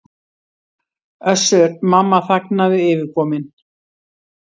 Össur-Mamma þagnaði yfirkominn.